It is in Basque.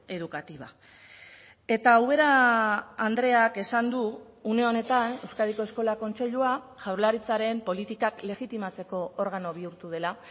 educativa eta ubera andreak esan du une honetan euskadiko eskola kontseilua jaurlaritzaren politikak legitimatzeko organo bihurtu dela